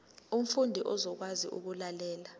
umfundi uzokwazi ukulalela